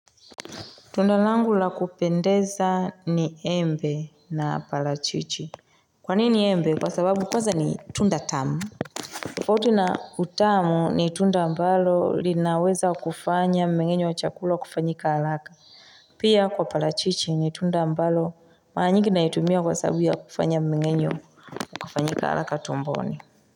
Tunda langu la kupendeza ni embe na palachichi. Kwa nini embe? Kwa sababu kwanza ni tunda tamu. Tofauti na utamu ni tunda mbalo linaweza kufanya mmengenyo wa chakula kufanyika haraka. Pia kwa palachichi ni tunda mbalo mara nyingi naitumia kwa sababu ya kufanya mmengenyo kufanyika halaka tumboni.